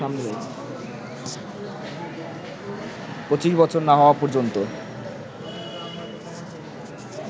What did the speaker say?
২৫ বছর না হওয়া পর্যন্ত